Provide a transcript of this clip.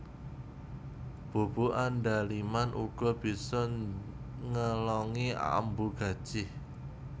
Bubuk andaliman uga bisa ngelongi ambu gajih